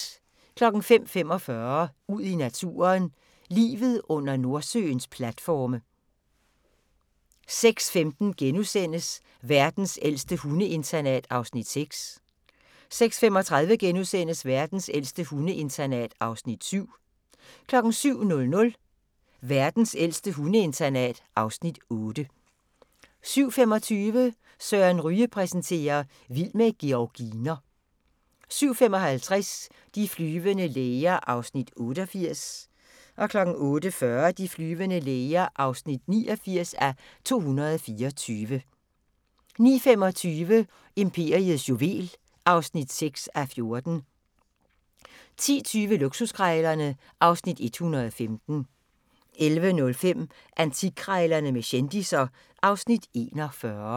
05:45: Ud i naturen: Livet under Nordsøens platforme 06:15: Verdens ældste hundeinternat (Afs. 6)* 06:35: Verdens ældste hundeinternat (Afs. 7)* 07:00: Verdens ældste hundeinternat (Afs. 8) 07:25: Søren Ryge præsenterer: Vild med georginer 07:55: De flyvende læger (88:224) 08:40: De flyvende læger (89:224) 09:25: Imperiets juvel (6:14) 10:20: Luksuskrejlerne (Afs. 115) 11:05: Antikkrejlerne med kendisser (Afs. 41)